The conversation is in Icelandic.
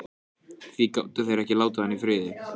Því gátu þeir ekki látið hann í friði?